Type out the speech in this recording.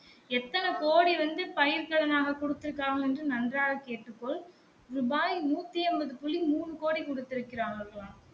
எத்தன கோடி வந்து பயிர் கடனாக குடுத்து இருக்காங்கன்னு நன்றாக கேட்டுக்கொள் ரூபாய் நூத்தி ஐம்பது புள்ளி மூன்னு கோடி குடுத்து இருக்காங்க